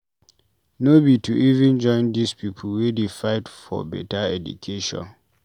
No be to even join dis pipu wey dey fight fore beta education.